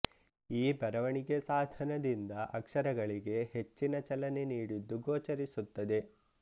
ಈ ಬರವಣಿಗೆ ಸಾಧನದಿಂದ ಅಕ್ಷರಗಳಿಗೆ ಹೆಚ್ಚಿನ ಚಲನೆ ನೀಡಿದ್ದು ಗೋಚರಿಸುತ್ತದೆ